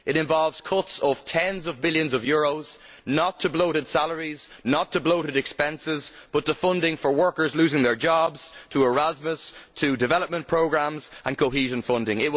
It involves cuts of tens of billions of euros not to bloated salaries, not to bloated expenses, but to funding for workers losing their jobs, to Erasmus, to development programmes and to cohesion funding.